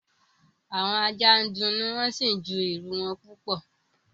Àwọn ajá ń dunnú wọ́n sì ń ju ìrù wọn púpọ̀